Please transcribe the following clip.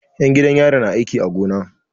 'Yan gidan yari na aiki a gona.